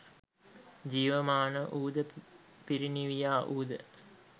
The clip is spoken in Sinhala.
ජීවමාන වූද පිරිනිවියා වූ ද